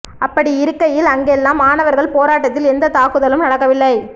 அப்படி இருக்கையில் அங்கெல்லாம் மாணவர்கள் போராட்டத்தில் எந்த தாக்குதலும் நடக்கவில்லை